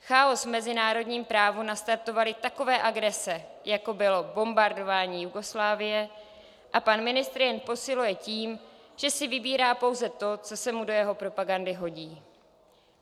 Chaos v mezinárodním právu nastartovaly takové agrese, jako bylo bombardování Jugoslávie, a pan ministr jej posiluje tím, že si vybírá pouze to, co se mu do jeho propagandy hodí.